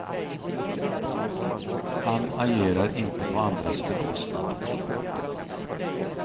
Han agerar inte på andras bekostnad.